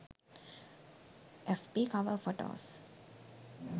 fb cover photos